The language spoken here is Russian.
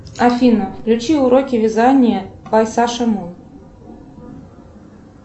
афина включи уроки вязания по саше мун